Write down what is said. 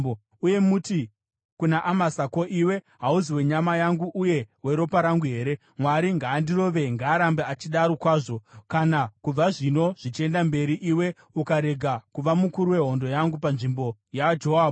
Uye muti kuna Amasa, ‘Ko, iwe hauzi wenyama yangu uye weropa rangu here? Mwari ngaandirove, ngaarambe achidaro kwazvo, kana kubva zvino zvichienda mberi, iwe ukarega kuva mukuru wehondo yangu panzvimbo yaJoabhu.’ ”